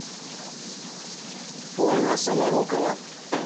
ольга саморукова